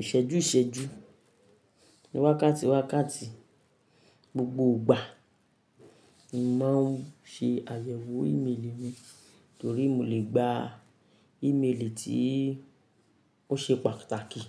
Ìṣẹ́jú ìṣẹ́jú, wákàtí wákàtí, gbogbo ìgbà mo máa ń ṣe àyẹ̀wò ìmeèlì mi torí mo lè gba ìmeèlì tí ó ṣe pàtàkì